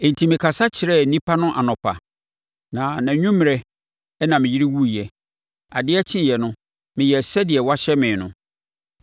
Enti mekasa kyerɛɛ nnipa no anɔpa, na nʼanwummerɛ na me yere wuiɛ. Adeɛ kyeeɛ no, meyɛɛ sɛdeɛ wɔahyɛ me no.